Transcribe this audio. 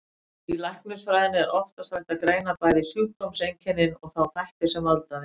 Í læknisfræðinni er oftast hægt að greina bæði sjúkdómseinkennin og þá þætti sem valda þeim.